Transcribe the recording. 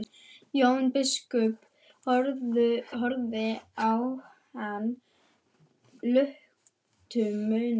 Jón biskup horfði á hann luktum munni.